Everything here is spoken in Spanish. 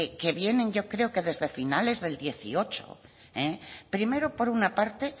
que vienen yo creo desde finales del dieciocho primero por una parte